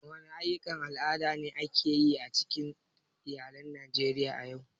Wani aƴƴukan al'ada ne ake yi a cikin iyalan Najeriya a yau?